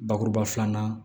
Bakuruba filanan